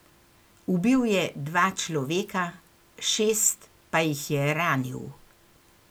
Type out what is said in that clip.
Ubil je dva človeka, šest pa jih je ranil.